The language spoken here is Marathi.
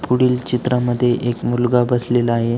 पुढील चित्रा मध्ये एक मुलगा बसलेला आहे.